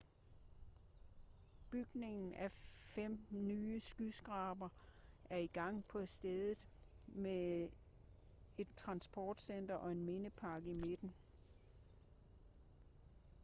bygningen af fem nye skyskrabere er i gang på stedet med et transportcenter og en mindepark i midten